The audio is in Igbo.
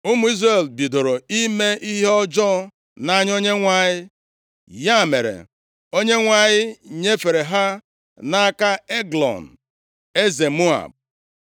Ụmụ Izrel bidoro ime ihe ọjọọ nʼanya Onyenwe anyị. Ya mere, Onyenwe anyị nyefere ha nʼaka Eglọn, eze Moab.